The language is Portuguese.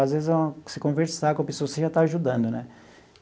Às vezes, você conversar com a pessoa, você já está ajudando né.